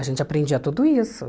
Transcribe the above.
A gente aprendia tudo isso.